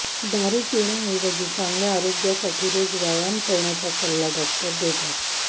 दारु पिण्याऐवजी चांगल्या आरोग्यासाठी रोज व्यायाम करण्याचा सल्ला डॉक्टर देतात